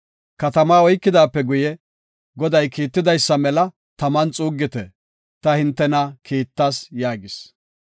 Katamaa oykidaape guye, Goday kiitidaysa mela taman xuuggite. Ta hintena kiittas” yaagis.